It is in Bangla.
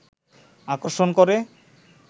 আকর্ষণ করে